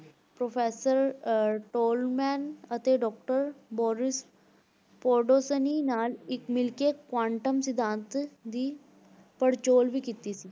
professor ਅਹ Tolman ਅਤੇ doctor Boris Podolsky ਨਾਲ ਇੱਕ ਮਿਲ ਕੇ ਕੁਆਂਟਮ ਸਿਧਾਂਤ ਦੀ ਪੜਚੋਲ ਵੀ ਕੀਤੀ ਸੀ।